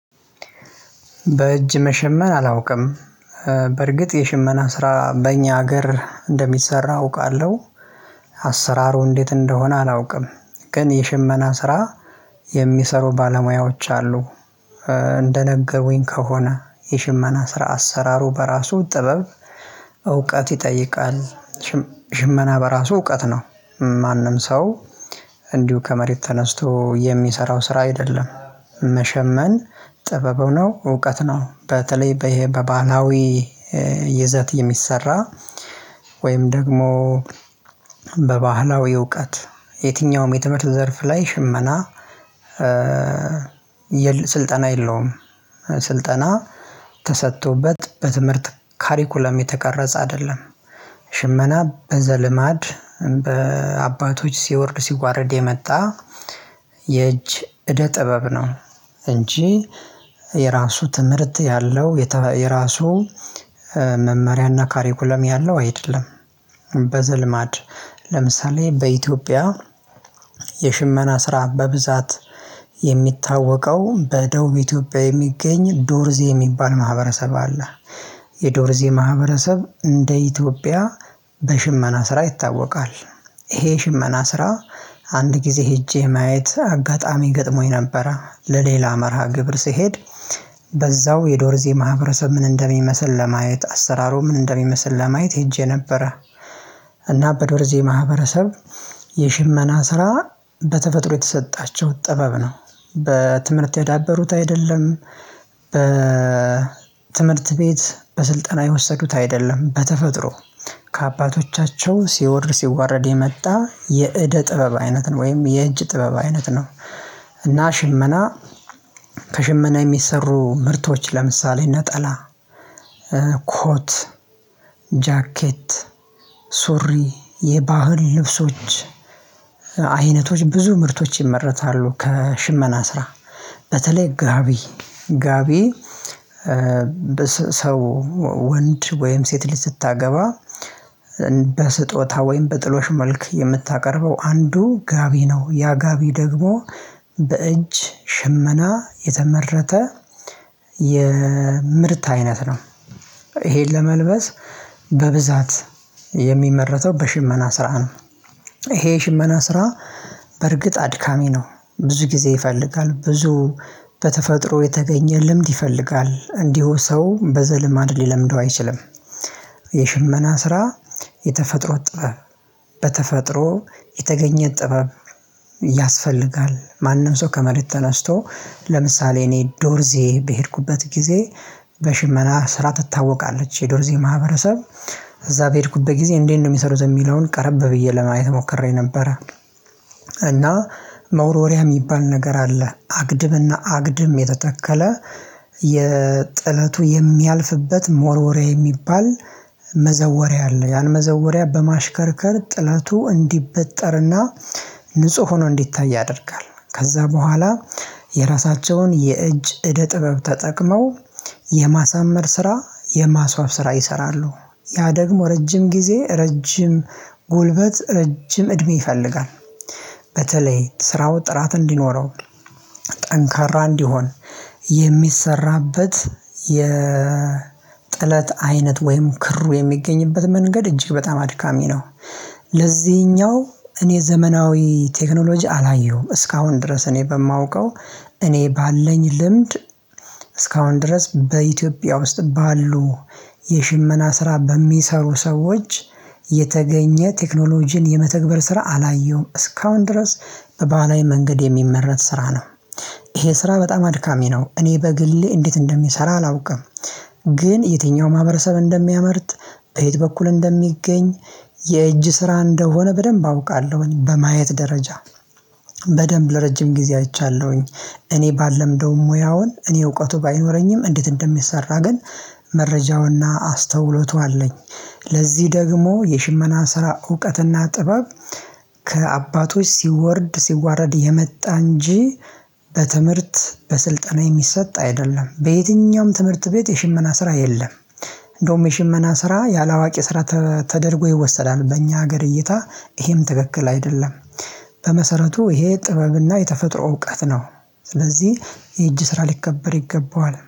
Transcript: በእጅ መሸመን አላውቅም በርግጥ የሽመና ስራ በእኛ ሀገር እንደሚሰራ አውቃለሁ። አሰራሩ እንዴት እንደሆነ አላውቅም ግን የሸመና ስራ የሚሰሩ ባለሙያዎች አሉ። እንደነገሩኝ ከሆነ የሽመና ስራ አሰራሩ በራሱ ጥበብ እውቀት ይጠይቃል። ሽመና በራሱ እውቀት ነው ማንም ሰው እንዲሁ ከመሬት ተነስቶ የሚሰራው ስራ አይደለም። መሸመን ጥበብ ነው እውቀት ነው። በተለይ በባህላዊ ይዘት የሚሰራ ወይም ደግሞ በባህላዊ እውቀት የትኛውም የትምህርት ዘርፍ ላይ ሽመና ስልጠና የለውም። ስልጠና ተሰጥቶበት በትምህርት ካሪኩለም የተቀረጸ አይደለም። ሽመና በዘልማድ በአባቶች ሲወርድ ሲጓረድ የመጣ የእጅ እደ ጥበብ ነው። እንጂ የራሱ ትምህርት ያለው የራሱ መመሪያና ካሬኩለም ያለው አይደለም። ለምሳሌ በኢትዮጵያ የሽመና ስራ በብዛት የሚታወቀው በደቡብ ኢትዮጵያ የሚገኝ ዶርዜ የሚባል ማህበረሰብ አለ። የዶርዜ ማህበረሰብ እንደ ኢትዮጵያ በሽመና ስራ ይታወቃል። ይሄ ሽመና ስራ አንድ ጊዜ ሄጄ ማየት አጋጣሚ ገጥሞኝ ነበረ ለሌላ መርሃ ግብር ስሄድ። በዛው የዶር ዜማ ህብረተሰብ ምን እንደሚመስል ለማየት አሰራሩ ምን እንደሚመስል ለማየት ሄጄ ነበረ። እና በዶርዜ ማህበረሰብ የሽመና ስራ በተፈጥሮ የተሰጣቸው ጥበብ ነው በትምህርት ያዳበሩት አይደለም። በ ትምህርት ቤት በስልጠና የወሰዱት አይደለም በተፈጥሮ ከአባቶቻቸው ሲወርድ ሲዋረድ የመጣ የእደ ጥበብ አይነት ነው ወይም የእጅ ጥበብ አይነት ነው። እና ሽመና ከሽመና የሚሰሩ ምርቶች ለምሳሌ ነጠላ ኮት ጃኬት ሱሪ የባህል ልብሶች አይነቶች ብዙ ምርቶች ይመረታሉ ከሽመና ስራ። በተለይ ጋቢ ጋቢ ሰው ወንድ ወይም ሴት ልጅ ስታገባ በስጦታ ወይም በጥሎሽ መልክ የምታቀርበው አንዱ ጋቢ ነው። ያ ጋቢ ደግሞ በእጅ ሽመና የተመረተ የምርት አይነት ነው። ይሄን ለመልበስ በብዛት የሚመረተው በሽመና ስራ ነው። ይሄ የሽመና ስራ በርግጥ አድካሚ ነው። ብዙ ጊዜ ይፈልጋል ብዙ በተፈጥሮ የተገኘ ልምድ ይፈልጋል እንዲሁ ሰው በዘልማድ ሊለምደው አይችልም። የሽመና ስራ የተፈጥሮ ጥበብ በተፈጥሮ የተገኘ ጥበብ ያስፈልጋል። ማንም ሰው ከመሬት ተነስቶ ለምሳሌ እኔ ዶርዜ በሄድኩበት ጊዜ በሽመና ስራ ትታወቃለች የዶርዜ ማህበረሰብ እዛ በሄድኩበት ጊዜ እንዴት ነው የሚሰሩት የሚለውን ቀረብ ብዬ ለማየት ሞከሬ ነበረ። እና መወርወሪያ የሚባል ነገር አለ አግድብና አግድም የተተከለ የጥለቱ የሚያልፍበት መወርወሪያ የሚባል መዘወሪያ አለ ያን መዘወሪያ በማሽከርከር ጥላቱ እንዲበጠርና ንጹህ ሆኖ እንዲታይ ያደርጋል። ከዛ በኋላ የራሳቸውን የእጅ እደ ጥበብ ተጠቅመው የማሳመር ስራ የማስዋብ ስራ ይሰራሉ። ያ ደግሞ ረጅም ጊዜ ረጅም ጉልበት ረጅም እድሜ ይፈልጋል። በተለይ ስራው ጥራት እንዲኖረው ጠንካራ እንዲሆን የሚሰራበት የጥለት አይነት ወይም ክሩ የሚገኝበት መንገድ እጅግ በጣም አድካሚ ነው። ለዚኛው እኔ ዘመናዊ ቴክኖሎጂ አላየውም እስካሁን ድረስ እኔ በማውቀው እኔ ባለኝ ልምድ። እስካሁን ድረስ በኢትዮጵያ ውስጥ ባሉ የሽመና ስራ በሚሰሩ ሰዎች የተገኘ ቴክኖሎጂን የመተግበር ስራ አላየውም እስካሁን ድረስ በባህላዊ መንገድ የሚመረት ስራ ነው። ይሄ ስራ በጣም አድካሚ ነው እኔ በግሌ እንዴት እንደሚሰራ አላውቅም። ግን የትኛው ማህበረሰብ እንደሚያመርት በየት በኩል እንደሚገኝ የእጅ ስራ እንደሆነ በደንብ አውቃለሁኝ። በማየት ደረጃ በደንብ ለረጅም ጊዜ አይቻለሁኝ። እኔ ባልለምደውም ሙያውን እኔ እውቀቱ ባይኖረኝም እንዴት እንደሚሰራ ግን መረጃውና አስተውሎቱ አለኝ። ለዚህ ደግሞ የሽመና ስራ እውቀትና ጥበብ ከአባቶች ሲወርድ ሲዋረድ የመጣ እንጂ በትምህርት በስልጠና የሚሰጥ አይደለም። በየትኛውም ትምህርት ቤት የሽመና ስራ የለም እንደውም የሽመና ስራ ያላዋቂ ስራ ተደርጎ ይወሰዳል። በእኛ ሀገር እይታ ይሄም ትክክል አይደለም። በመሰረቱ ይሄ ጥበብና የተፈጥሮ እውቀት ነው። ስለዚህ የእጅ ስራ ሊከበር ይገባዋል